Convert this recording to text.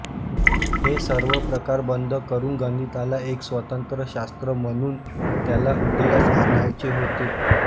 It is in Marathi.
हे सर्व प्रकार बंद करून गणिताला एक स्वतंत्र शास्त्र म्हणून त्याला उदयास आणायचे होते